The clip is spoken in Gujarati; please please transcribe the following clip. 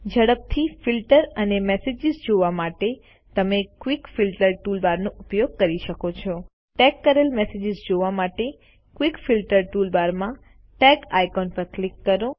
ઝડપથી ફિલ્ટર અને મેસેજીસ જોવા માટે તમે ક્વિક ફિલ્ટર ટૂલબાર નો ઉપયોગ કરી શકો છો ટેગ કરેલ મેસેજીસ જોવા માટેQuick ફિલ્ટર ટૂલબાર માં ટેગ આઇકોન પર ક્લિક કરો